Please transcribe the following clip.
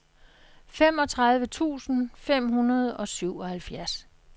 femogtredive tusind fem hundrede og syvoghalvfjerds